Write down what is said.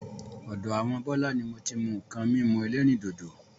Ọ̀dọ àwọn Bọlá ni moti mú nkan mímu ẹlẹ́rìndòdò.